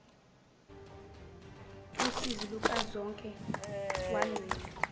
usizi lukazonke wancenga